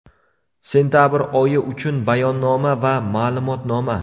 Sentabr oyi uchun bayonnoma va ma’lumotnoma.